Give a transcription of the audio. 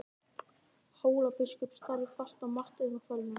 Hólabiskup starði fast á Martein og fölnaði.